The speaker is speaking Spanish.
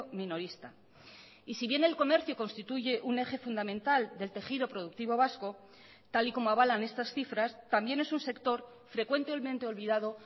minorista y si bien el comercio constituye un eje fundamental del tejido productivo vasco tal y como avalan estas cifras también es un sector frecuentemente olvidado